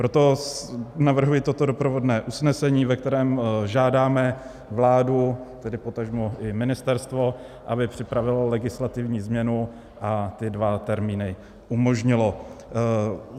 Proto navrhuji toto doprovodné usnesení, ve kterém žádáme vládu, tedy potažmo i ministerstvo, aby připravilo legislativní změnu a ty dva termíny umožnilo.